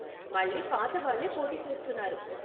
మళ్ళీ పాతవాళ్ళే పోటీ చేస్తున్నారు.